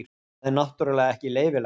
Það er náttúrulega ekki leyfilegt.